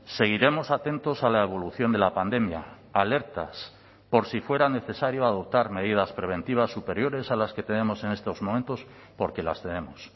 seguiremos atentos a la evolución de la pandemia alertas por si fuera necesario adoptar medidas preventivas superiores a las que tenemos en estos momentos porque las tenemos